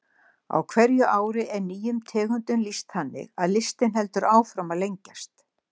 Á hverju ári er nýjum tegundum lýst þannig að listinn heldur áfram að lengjast.